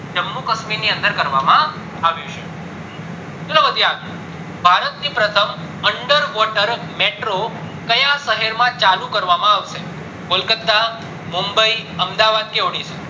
જમ્મુ કાશ્મીર ની અંદર કરવામાં આવ્યું છે ચાલો વધીએ આગળ ભારત ની પ્રથમ under water metro ક્યાં શહેરમાં ચાલુ કરવામાં આવશે બોલો કલકત્તા, મુમ્બઈ, અમદાવાદ કે ઓડીસા